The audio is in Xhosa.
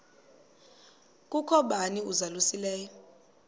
kukho bani uzalusileyo